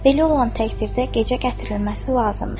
Əlbəttə, belə olan təqdirdə gecə gətirilməsi lazımdır.